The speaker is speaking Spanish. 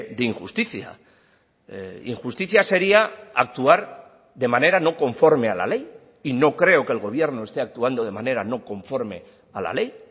de injusticia injusticia sería actuar de manera no conforme a la ley y no creo que el gobierno esté actuando de manera no conforme a la ley